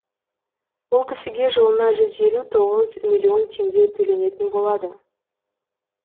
ол кісіге жылына жүз елу тоғыз миллион теңге төленетін болады